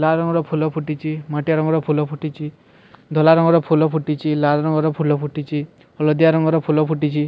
ଲାଲ୍ ରଙ୍ଗର ଫୁଲ ଫୁଟିଚି ମାଟିଆ ରଙ୍ଗର ଫୁଲ ଫୁଟିଛି ଧଲା ରଙ୍ଗର ଫୁଲ ଫୁଟିଚି ଲାଲ ରଙ୍ଗର ଫୁଲ ଫୁଟିଛି ହଳଦିଆ ରଙ୍ଗର ଫୁଲ ଫୁଟିଛି।